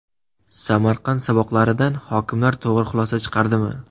Samarqand saboqlaridan hokimlar to‘g‘ri xulosa chiqardimi?.